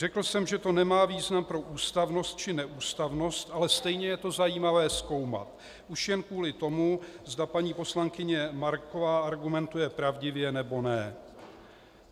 Řekl jsem, že to nemá význam pro ústavnost či neústavnost, ale stejně je to zajímavé zkoumat, už jen kvůli tomu, zda paní poslankyně Marková argumentuje pravdivě, nebo ne.